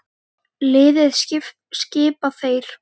Liðið skipa þeir